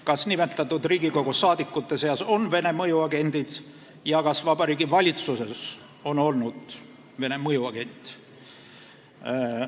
Kas nimetatud Riigikogu liikmete seas on Vene mõjuagendid ja kas Vabariigi Valitsuses on olnud Vene mõjuagent?